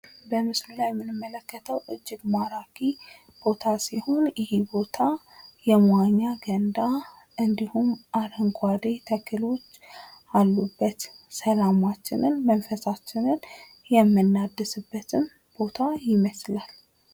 በምስሉ ላይ የምንመለከተው እጅግ ማራኪ ቦታ ሲሆን ይህን ቦታ የመዋኛ ገንዳ እንዲሁም አረንጓዴ ተክሎች አሉበት። ሰላማችንን መንፈሳችንን የምናድስበት ቦታ ይመስላል ።